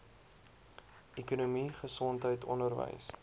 ekonomie gesondheid onderwys